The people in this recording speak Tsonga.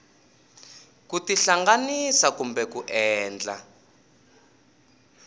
ku tihlanganisa kumbe ku endla